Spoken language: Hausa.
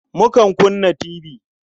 Mukan kunna tibi.